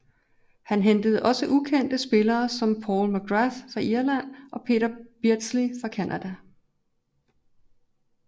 Han hentede også ukendte spillere som Paul McGrath fra Irland og Peter Beardsley fra Canada